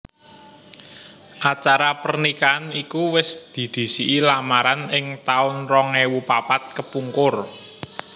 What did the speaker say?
Acara pernikahan iku wis didhisiki lamaran ing taun rong ewu papat kepungkur